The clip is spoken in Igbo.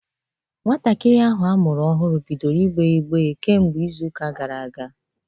Nwatakịrị ahụ amụrụ ọhụrụ bidoro ìgbè ígbé kemgbe izu ụka gara aga.